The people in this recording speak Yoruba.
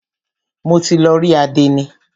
Mo ti lọ rí àdénì.